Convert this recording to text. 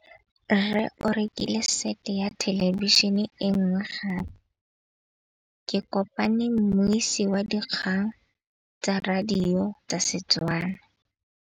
Rre o rekile sete ya thêlêbišênê e nngwe gape. Ke kopane mmuisi w dikgang tsa radio tsa Setswana.